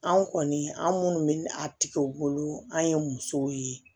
Anw kɔni an minnu bɛ a tigɛ u bolo an ye musow ye